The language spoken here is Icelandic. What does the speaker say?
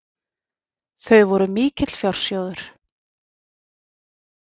Þau voru mikill fjársjóður.